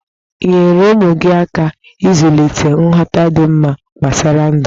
Nyere ụmụ gi aka ịzulịte nghọta dị mma gbasara ndụ.